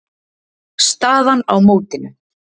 Staðan á mótinu